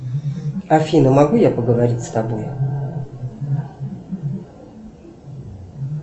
афина могу я поговорить с тобой